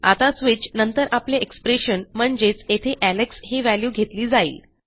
आता स्विच नंतर आपले एक्सप्रेशन म्हणजेच येथे एलेक्स ही व्हॅल्यू घेतली जाईल